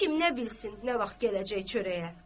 Kim nə bilsin nə vaxt gələcək çörəyə.